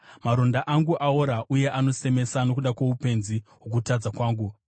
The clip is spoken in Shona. Maronda angu aora uye anosemesa nokuda kwoupenzi hwokutadza kwangu.